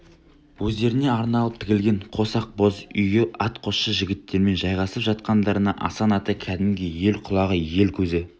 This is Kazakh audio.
өздеріне арналып тігілген қос ақ боз үйге атқосшы жігіттерімен жайғасып жатқандарында асан ата кәдімгі ел құлағы ел көзі